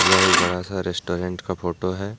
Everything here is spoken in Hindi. यह एक बड़ा सा रेस्टोरेंट का फोटो है ।